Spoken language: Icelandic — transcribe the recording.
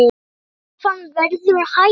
Krafan verður hærri.